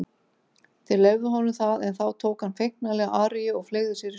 Þeir leyfðu honum það en þá tók hann feiknarlega aríu og fleygði sér í sjóinn.